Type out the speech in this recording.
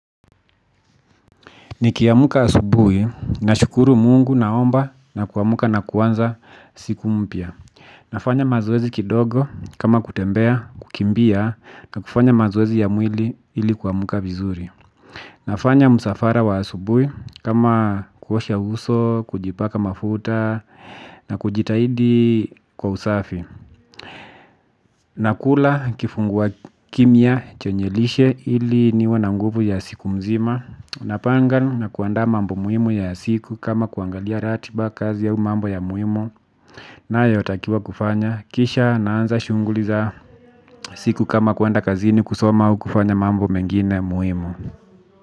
Niki amka asubuhi na shukuru mungu naomba na ku amka na kuanza siku mpya. Nafanya mazoezi kidogo kama kutembea, kukimbia na kufanya mazoezi ya mwili ili ku amka vizuri. Nafanya msafara wa asubui kama kuosha uso, kujipaka mafuta na kujitahidi kwa usafi. Nakula kifungua kinyua chenye lishe ili niwe na nguvu ya siku mzima napanga na kuanda mambo muhimu ya siku kama kuangalia ratiba kazi au mambo ya muhimu. Nayo takiwa kufanya kisha naanza shughuli za siku kama kuenda kazini kusoma au kufanya mambo mengine muhimu.